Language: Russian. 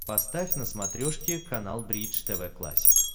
поставь на смотрешке канал бридж тв классик